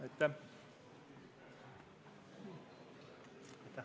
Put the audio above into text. Aitäh!